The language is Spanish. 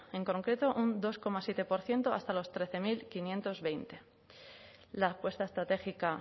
en concreto un dos coma siete por ciento hasta los trece mil quinientos veinte la apuesta estratégica